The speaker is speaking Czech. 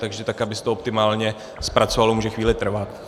Takže to, aby se to optimálně zpracovalo, může chvíli trvat.